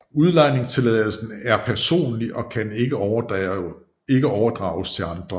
Udlejningstilladelsen er PERSONLIG og kan ikke overdrages til andre